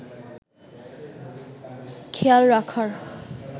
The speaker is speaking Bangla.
খেয়াল রাখার